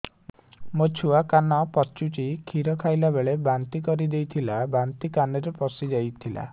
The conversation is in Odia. ମୋ ଛୁଆ କାନ ପଚୁଛି କ୍ଷୀର ଖାଇଲାବେଳେ ବାନ୍ତି କରି ଦେଇଥିଲା ବାନ୍ତି କାନରେ ପଶିଯାଇ ଥିଲା